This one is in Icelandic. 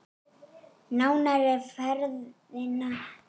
Nánar um ferðina hér.